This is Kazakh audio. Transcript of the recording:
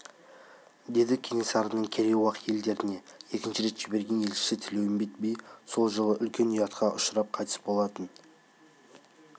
деді кенесарының керей-уақ елдеріне екінші рет жіберген елшісі тілеуімбет би сол жолы үлкен ұятқа ұшырап қайтқаны рас болатын